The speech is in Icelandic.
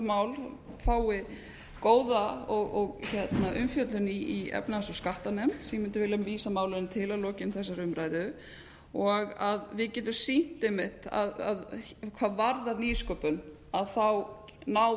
mál fái góða umfjöllun í efnahags og skattanefnd sem ég mundi vilja vísa málinu til að lokinni þessari umræðu og að við getum sýnt einmitt hvað varðar nýsköpun þá ná